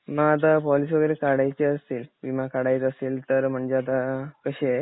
म आता पॉलिसी वगैरे काढायची असेल विमा काढायचा असेल तर म्हणजे आता कशी आहे?